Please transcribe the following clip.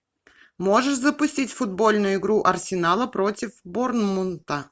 можешь запустить футбольную игру арсенала против борнмута